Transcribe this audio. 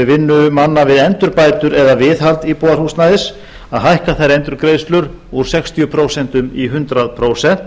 vinnu manna við endurbætur eða viðhald íbúðarhúsnæðis að hækka þær endurgreiðslur úr sextíu prósent í hundrað prósent